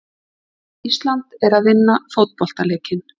Ísland er að vinna fótboltaleikinn.